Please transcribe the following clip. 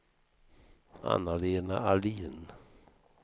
Anna-Lena Ahlin